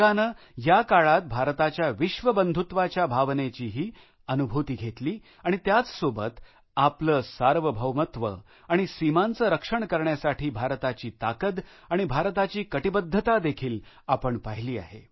जगाने या काळात भारताच्या विश्वबंधुत्वाच्या भावनेचीही अनुभूती घेतली आणि त्याचसोबत आपले सार्वभौमत्व आणि सीमांचे रक्षण करण्यासाठी भारताची ताकद आणि भारताची कटिबद्धता देखील आपण पहिली आहे